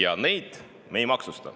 Aga me ei maksusta.